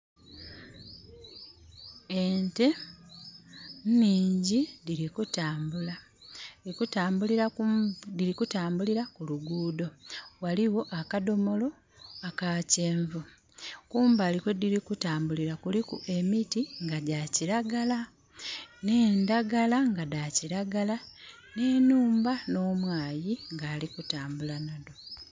Ente nhingi dhili kutambula. Dhili kutambulira ku...dhili kutambulira ku luguudho. Ghaligho akadhomolo aka kyenvu. Kumbali kwe dhili kutambulira kuliku emiti nga gya kiragala, nh'endhagala nga dha kiragala, nh'enhumba, nh'omwaayi nga ali kutambula nadho.